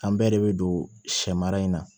An bɛɛ de bɛ don sɛ mara in na